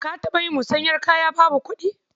Ka taɓa yin musanyar kaya babu kuɗi?